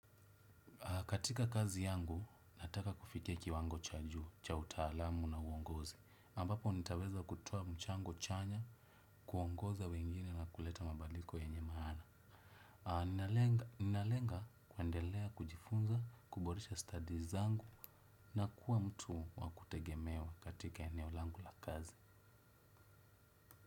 Katika kazi yangu, nataka kufikia kiwango cha juu, cha utaalamu na uongozi. Ambapo, nitaweza kutoa mchango chanya, kuongoza wengine na kuleta mabadiko yenye maana. Ninalenga kuendelea, kujifunza, kuboresha studies zangu na kuwa mtu wakutegemewa katika eneo langu la kazi.